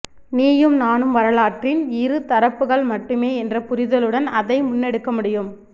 நீயும் நானும் வரலாற்றின் இரு தரப்புகள் மட்டுமே என்ற புரிதலுடன் அதை முன்னெடுக்கமுடியும்